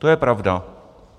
To je pravda.